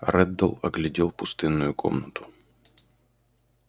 реддл оглядел пустынную комнату